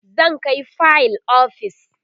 zan Kai fayil ofis